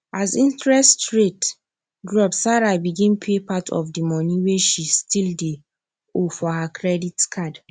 as interest rate drop sarah begin pay part of the money wey she still dey owe for her credit card